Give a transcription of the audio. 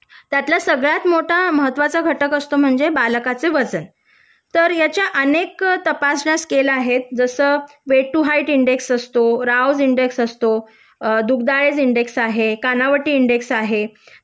त्यातला सगळ्यात मोठा महत्वाचा घटक असतो वजन तर ह्याच्या अनेक तपसण्या स्केल आहेत वेट टु हाइट इंडेक्स असतो रावज इंडेक्स असतो मग दुग्धायज इंडेक्स आहे कानावटी इंडेक्स आहे